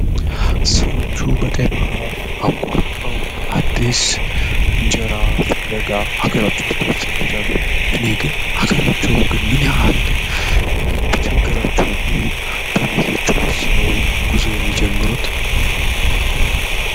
ሰዎች ባህር አቋርጠው አዲስ እንጀራ ፍለጋ ሃገራቸውን ትተው ይሰደዳሉ እነዚህ ግን ሀገራቸው ምን ያህል ቢቸግራቸው ነው እንደዚህ ወስነው ጉዞ የሚጀምሩት?